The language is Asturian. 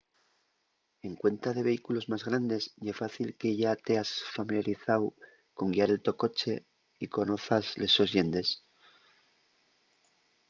en cuenta de vehículos más grandes ye fácil que yá teas familiarizáu con guiar el to coche y conozas les sos llendes